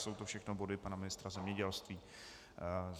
Jsou to všechno body pana ministra zemědělství.